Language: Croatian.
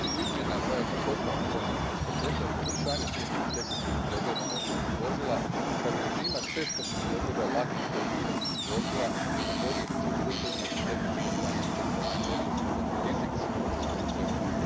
Cilj izmjena zajedno s ostalim promjenama iz paketa je poboljšanje primjene tehničkih pregleda motornih vozila, kao i režima cestovnih pregleda lakih gospodarskih vozila, a posebice u slučajevima gdje tehničko stanje predstavlja neposredan rizik sigurnosti na cestama.